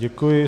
Děkuji.